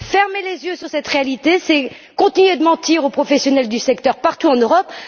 Fermer les yeux sur cette réalité, c'est continuer de mentir aux professionnels du secteur, partout en Europe.